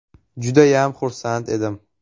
Judayam xursand edim.